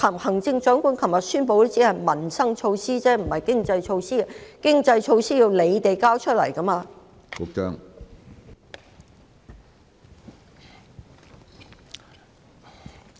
行政長官昨天宣布的只是民生措施，不是經濟措施，而經濟措施要由當局提交出來的。